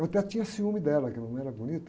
Até tinha ciúme dela, porque a mamãe era bonita.